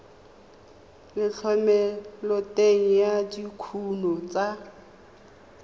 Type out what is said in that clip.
le thomeloteng ya dikuno tsa